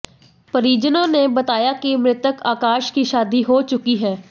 परिजनों ने बताया कि मृतक आकाश की शादी हो चुकी है